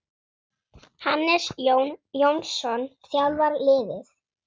Hannes Jón Jónsson þjálfar liðið.